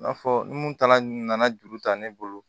I n'a fɔ ni mun taara nana juru ta ne bolo